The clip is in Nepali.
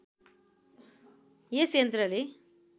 यस यन्त्रले